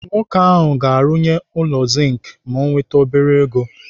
Nwoke ahụ ga-arụnye ụlọ zink ma o nwete obere ego.